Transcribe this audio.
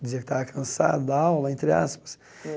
dizia que estava cansado da aula, entre aspas.